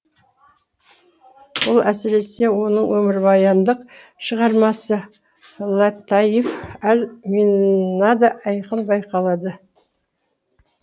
бұл әсіресе оның өмірбаяндық шығармасы латаиф әл минада айқын байқалады